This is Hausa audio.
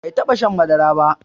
Bai taba shan madara ba